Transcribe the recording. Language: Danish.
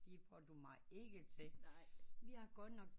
Det får du mig ikke til